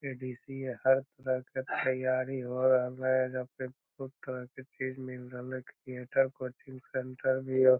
हर प्रकार के तैयारी हो रहले हेय एजा पे बहुत तरह के चीज मिल रहले कोचिंग सेंटर भी हेय।